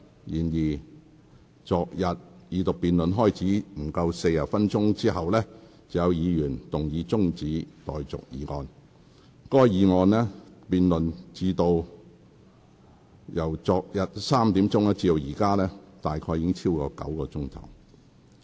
然而，昨天二讀辯論開始了約40分鐘後，便有議員動議中止待續議案，該議案辯論於昨天下午3時開始，至今已進行超過9小時。